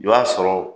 O y'a sɔrɔ